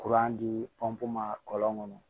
dipu ma kɔlɔn kɔnɔ